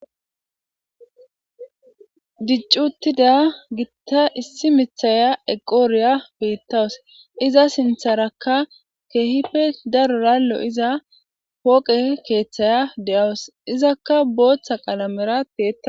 Diccuttida gitta issi mithaya eqooriya peettawus iza sintharakka keehife darorallo iza pooqe keeththaya de'awus izakka booththa qalamera pea